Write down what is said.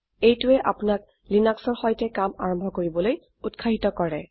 এইটোৱে আপোনাক লিনাক্সৰ সৈতে কাম আৰম্ভ কৰিবলৈ উত্সাহিত কৰে